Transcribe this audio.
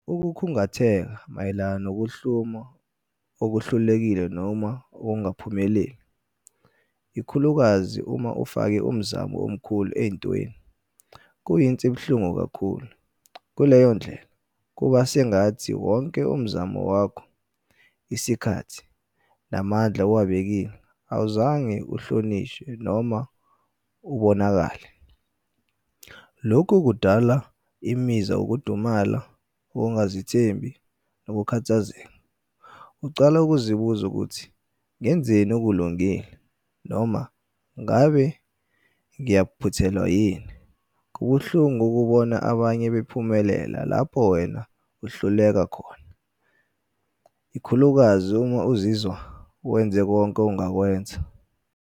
Ukukhungatheka mayelana nokuhlumwa okuhlulekile noma okungaphumeleli, ikhulukazi uma ufake umzamo omkhulu ey'ntweni kuyinto ebuhlungu kakhulu. Kuleyo ndlela kuba sengathi wonke umzamo wakho isikhathi, namandla owabekile, awuzange uhlonishwe noma ubonakale. Lokhu kudala imizwa, ukudumala, ukungazithembi, nokukhathazeka. Ucala ukuzibuza ukuthi ngenzeni okulungile, noma ngabe ngiyaphuthelwa yini. Kubuhlungu ukubona abanye bephumelela lapho wena uhluleka khona ikhulukazi uma uzizwa wenze konke ongakwenza.